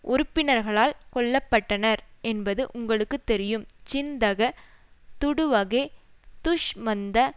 உறுப்பினர்களால் கொல்ல பட்டனர் என்பது உங்களுக்கு தெரியும் சின்தக துடுவகே துஷ்மன்த